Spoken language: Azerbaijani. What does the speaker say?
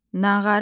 Nağara.